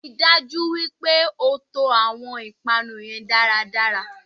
Ríi dájú wípé o to àwon ìpanu yen dáradára